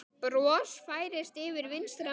Bros færist yfir vinstri menn.